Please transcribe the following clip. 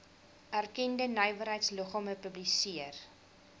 erkende nywerheidsliggame publiseer